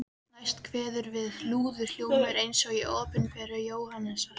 Næst kveður við lúðurhljómur eins og í Opinberun Jóhannesar